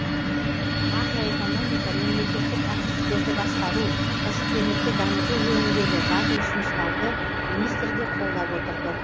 макроэкономика мемлекеттік активтерді басқару кәсіпкерлікті дамыту жөніндегі батыл ұсыныстарды министр де қолдап отырды